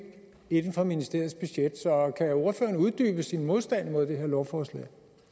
inden for ministeriets budget så kan ordføreren uddybe sin modstand mod det her lovforslag